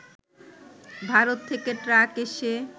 ভারত থেকে ট্রাক এসে